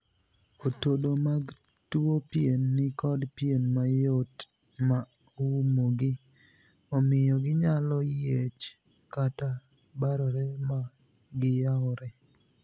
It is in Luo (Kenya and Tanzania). Otodo mag tuo pien ni kod pien mayot ma oumogi, omiyo ginyalo yiech kata barore ma giyawre.